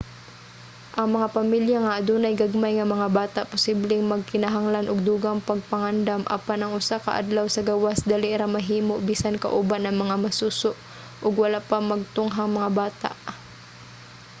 ang mga pamilya nga adunay gagmay nga mga bata posibleng magkinahanglan og dugang pagpangandam apan ang usa ka adlaw sa gawas dali ra mahimo bisan kauban ang mga masuso ug wala pa magtunghang mga bata